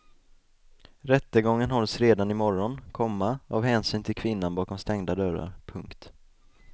Rättegången hålls redan i morgon, komma av hänsyn till kvinnan bakom stängda dörrar. punkt